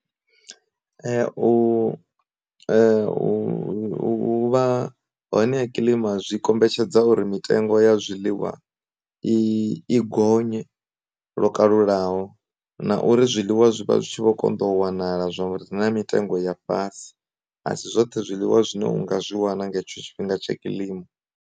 U u vha hone ya kilima zwi kombetshedza uri mitengo ya zwiḽiwa i i gonye lokalulaho, na uri zwiḽiwa zwivha zwi tshi vho konḓa u wanala zwavho ri na mitengo ya fhasi asi zwoṱhe zwiḽiwa zwine u nga zwi wana nga hetsho tshifhinga tsha kilima.